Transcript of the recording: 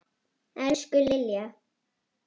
Elsku Lilja.